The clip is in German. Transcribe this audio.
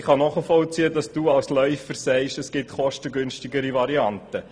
Köbi Etter, ich kann nachvollziehen, dass du als Läufer sagst, es gebe kostengünstigere Varianten.